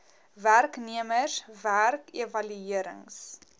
werknemers werk evaluerings